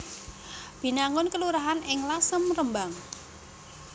Binangun kelurahan ing Lasem Rembang